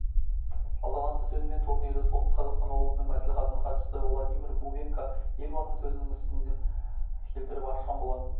салтанатты сөзімен турнирді солтүстік қазақстан облысының мәслихатының хатшысы владимир бубенко елбасының сөзінен үсінді келтіріп ашқан болатын